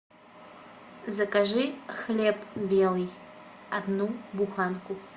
закажи хлеб белый одну буханку